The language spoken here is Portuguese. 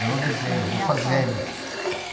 Eu não desenho, eu vou fazendo.